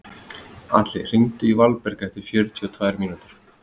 Atli, hringdu í Valberg eftir fjörutíu og tvær mínútur.